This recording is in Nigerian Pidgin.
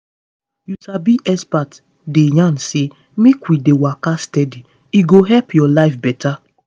you sabi experts dey yarn say make we dey waka steady e go help your life better.